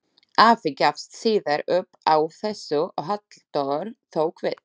Afi gafst síðar upp á þessu og Halldór tók við.